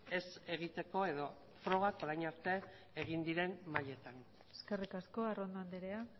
ez egiteko edo frogak orain arte egin diren mailetan eskerrik asko arrondo andrea